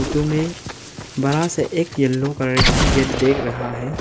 तुम्हें बड़ा सा एक येलो कलर का गेट देख रहा है।